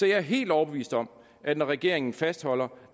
jeg er helt overbevist om at når regeringen fastholder